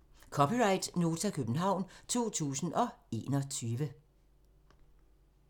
(c) Nota, København 2021